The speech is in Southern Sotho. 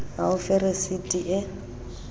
a o fe resiti e